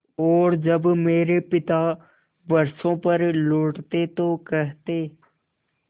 और जब मेरे पिता बरसों पर लौटते तो कहते